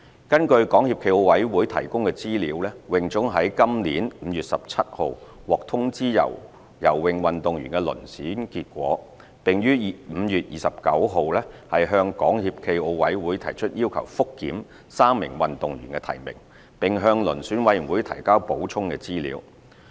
根據港協暨奧委會提供的資料，泳總於今年5月17日獲通知游泳運動員的遴選結果，並於5月29日向港協暨奧委會提出要求覆檢3名運動員的提名，並向遴選委員會提交補充資料。